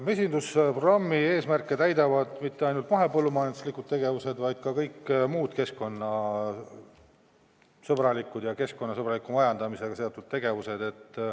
Mesindusprogrammi eesmärke täidavad mitte ainult mahepõllumajanduslikud tegevused, vaid ka kõik muud keskkonnasõbralikud ja keskkonnasõbraliku majandamisega seotud tegevused.